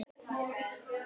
Eigin hlutir.